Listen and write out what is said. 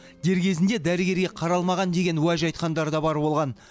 дер кезінде дәрігерге қаралмаған деген уәж айтқандар да бар болған